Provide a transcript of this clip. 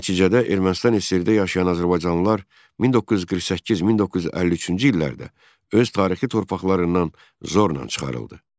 Nəticədə Ermənistan SSRİ-də yaşayan azərbaycanlılar 1948-1953-cü illərdə öz tarixi torpaqlarından zorla çıxarıldı.